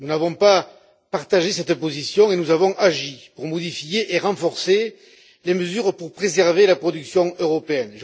Nous n'avons pas partagé cette position et nous avons agi pour modifier et renforcer les mesures pour préserver la production européenne.